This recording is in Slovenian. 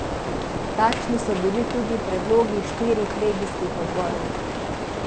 Takšni so bili tudi predlogi štirih regijskih odborov.